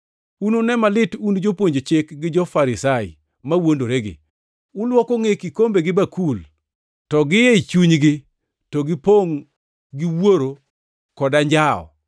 “Unune malit un jopuonj chik gi jo-Farisai mawuondoregi! Ulwoko ngʼe kikombe gi bakul, to gi e chunygi to gipongʼ gi wuoro kod anjawo.